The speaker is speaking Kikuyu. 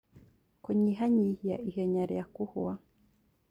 Kũnyihanyihia ihenya rĩa kũhwa